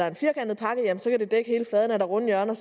en firkantet pakke så kan det dække hele fladen er der runde hjørner